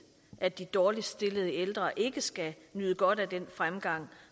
at de dårligst stillede ældre ikke skal nyde godt af den fremgang